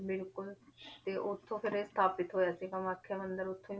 ਬਿਲਕੁਲ ਤੇ ਉੱਥੋਂ ਫਿਰ ਇਹ ਸਥਾਪਿਤ ਹੋਇਆ ਸੀ ਕਮਾਥਿਆ ਮੰਦਿਰ ਉੱਥੋਂ ਹੀ